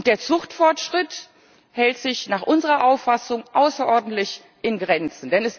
Und der Zuchtfortschritt hält sich nach unserer Auffassung außerordentlich in Grenzen.